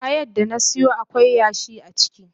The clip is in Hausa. Ayan da na siyo akwai yashi a ciki.